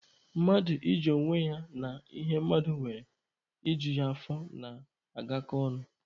Mmadụ iji onwe ya na ihe mmadụ nwere i ju ya afọ na-agakọ ọnụ.